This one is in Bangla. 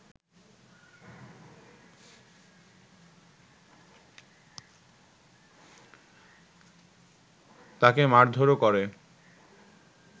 তাকে মারধরও করে